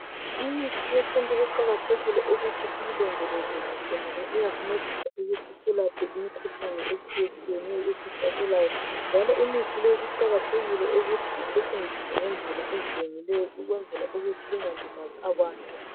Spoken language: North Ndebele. Imithi yesintu kuqakathekile ukuthi siyilondoloze kuhle ngoba iyasincedisa ukuthi selaphe imikhuhlane etshiyetshiyeneyo esihlaselayo njalo imithi leyi kuqakathekile ukuthi isetshenziswe ngendlela ezilungileyo ukwenzela ukuthi ingalimazi abantu.